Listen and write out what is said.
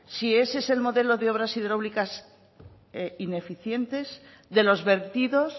si ese es el modelo de obras hidráulicas ineficientes de los vertidos